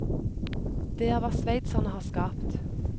Det er hva sveitserne har skapt.